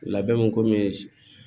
Labɛn kɔmi